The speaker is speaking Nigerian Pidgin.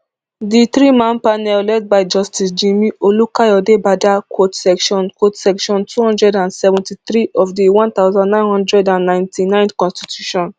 di threeman panel led by justice jimi olukayodebada quote section quote section two hundred and seventy-three of di one thousand, nine hundred and ninety-nine constitution